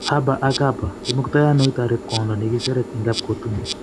Haba ak Haba: Imgutoano itoret kwondo nengiseret en kapkotun.